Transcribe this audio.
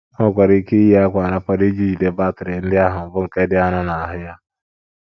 O nwekwara ike iyi akwa nrapado iji jide batrị ndị ahụ, bụ́ nke dị arọ, n’ahụ́ ya.